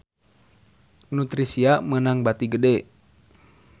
Nutricia meunang bati gede